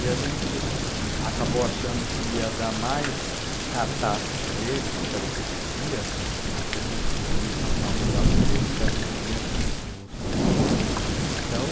E a gente acabou achando que ia dar mais cartaz para ele, que era o que ele queria, do que conseguir caçar o mandato dele, que era o que seria justo, né. Então,